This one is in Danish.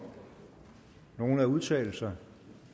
nogen at udtale sig